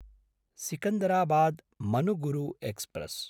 सिकन्दराबाद्–मनुगुरु express